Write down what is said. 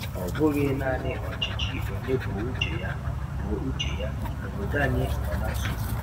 Ọ bụghị naanị ọchịchị onye kwuo uche ya, kwuo uche ya, obodo anyị nọ na nsogbu.